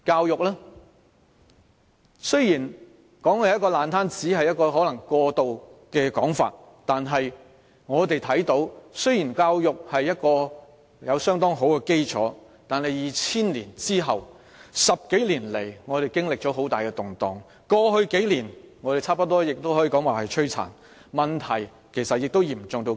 然而，我們看到的是即使我們的教育有相當好的基礎，但自2000年後的10多年來，我們經歷了很大的動盪。過去數年，我們幾乎可說是飽受摧殘，問題其實已嚴重之至。